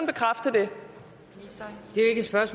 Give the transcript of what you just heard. det